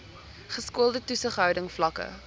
geskoolde toesighouding vlakke